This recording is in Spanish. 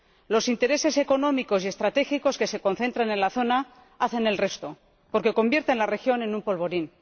los intereses económicos y estratégicos que se concentran en la zona hacen el resto, porque convierten la región en un polvorín.